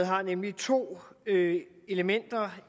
har nemlig to elementer